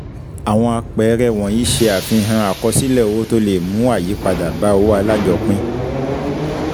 Àwọn àpẹẹrẹ wọ̀nyí ṣe àfihàn àkọsílẹ̀ owó tó le mú ayípadà bá owó alájọpín.